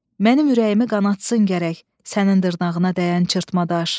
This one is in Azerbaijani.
Mənim ürəyimi qanatsın gərək sənin dırnağına dəyən çırpatma daş.